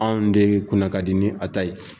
Anw de ye kunna ka di ni a ta ye